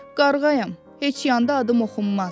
Qarğayam, heç yanda adım oxunmaz.